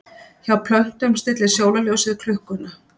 Hjá plöntum stillir sólarljósið klukkuna.